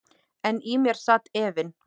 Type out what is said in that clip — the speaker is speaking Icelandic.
En í mér sat efinn.